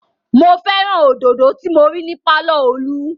Mo fẹ́ràn òdodo tí mo rí ní pàlọ́ Olú